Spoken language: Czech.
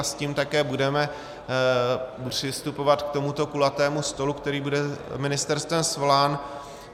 A s tím také budeme přistupovat k tomuto kulatému stolu, který bude ministerstvem svolán.